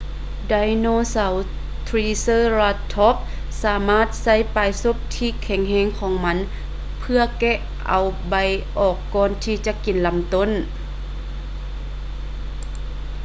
ໄດໂນເສົາ triceratops ສາມາດໃຊ້ປາຍສົບທີ່ແຂງແຮງຂອງມັນເພື່ອແກະເອົາໃບອອກກ່ອນທີ່ຈະກິນລຳຕົ້ນ